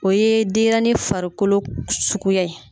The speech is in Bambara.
O ye denyɛrɛni farikolo suguya ye.